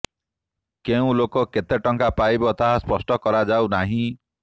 କେଉଁ ଲୋକ କେତେ ଟଙ୍କା ପାଇବ ତାହା ସ୍ପଷ୍ଟ କରାଯାଉ ନାହିଁ